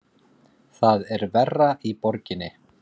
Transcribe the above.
Það er verra í borginni.